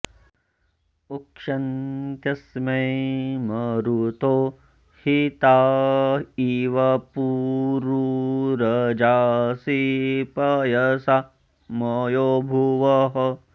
उ॒क्षन्त्य॑स्मै म॒रुतो॑ हि॒ता इ॑व पु॒रू रजां॑सि॒ पय॑सा मयो॒भुवः॑